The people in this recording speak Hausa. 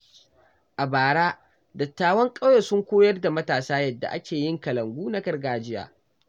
A bara, dattawan ƙauye sun koyar da matasa yadda ake yin kalangu na gargajiya.